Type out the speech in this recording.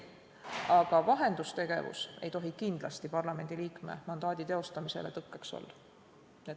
Aga vahendustegevus ei tohi kindlasti parlamendi liikme mandaadi teostamisel tõkkeks olla.